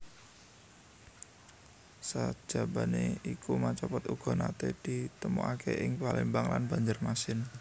Sajabané iku macapat uga naté ditemokaké ing Palembang lan Banjarmasin